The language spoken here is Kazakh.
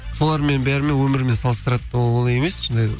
солармен бәрімен өмірімен салыстрады ол олай емес